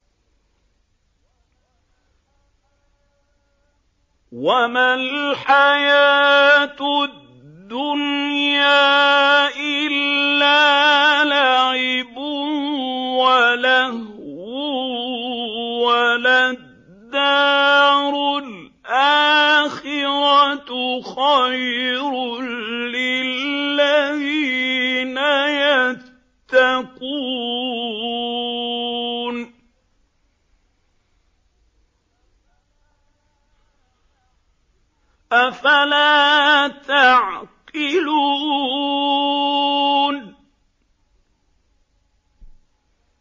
وَمَا الْحَيَاةُ الدُّنْيَا إِلَّا لَعِبٌ وَلَهْوٌ ۖ وَلَلدَّارُ الْآخِرَةُ خَيْرٌ لِّلَّذِينَ يَتَّقُونَ ۗ أَفَلَا تَعْقِلُونَ